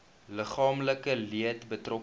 liggaamlike leed betrokke